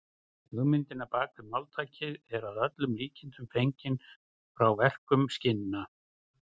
Hugmyndin á bak við máltækið er að öllum líkindum fengin frá verkun skinna.